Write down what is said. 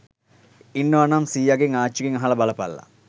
ඉන්නවනම් සීයාගෙන් ආච්චිගෙන් අහල බලපල්ලා